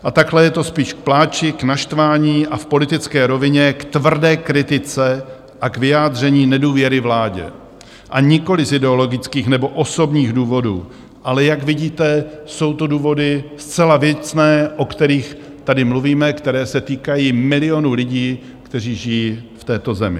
A takhle je to spíš k pláči, k naštvání a v politické rovině k tvrdé kritice a k vyjádření nedůvěry vládě, a nikoliv z ideologických nebo osobních důvodů, ale jak vidíte, jsou to důvody zcela věcné, o kterých tady mluvíme, které se týkají milionů lidí, kteří žijí v této zemi.